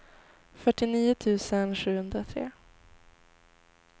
fyrtionio tusen sjuhundratre